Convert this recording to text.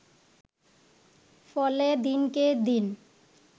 ফলে দিনকে দিন